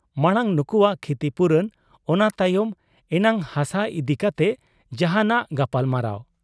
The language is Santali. ᱢᱟᱬᱟᱝ ᱱᱩᱠᱩᱣᱟᱜ ᱠᱷᱤᱛᱤᱯᱩᱨᱚᱱ, ᱚᱱᱟ ᱛᱟᱭᱚᱢ ᱮᱱᱟᱝ ᱦᱟᱥᱟ ᱤᱫᱤ ᱠᱟᱛᱮᱫ ᱡᱟᱦᱟᱸᱱᱟᱜ ᱜᱟᱯᱟᱞᱢᱟᱨᱟᱣ ᱾